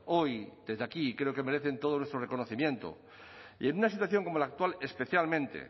hoy desde aquí creo que merecen todo nuestro reconocimiento y en una situación como la actual especialmente